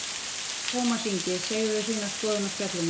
Hvert fer Tómas Ingi, segðu þína skoðun á Spjallinu